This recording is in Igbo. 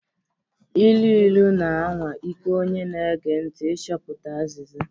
Ilu ilu na-anwa ike onye na-ege ntị ịchọpụta azịza.